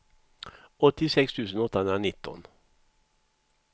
åttiosex tusen åttahundranitton